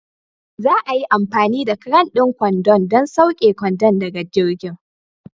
Za a yi amfani da cran ɗin kwandon don sauke kwandon daga jirgin.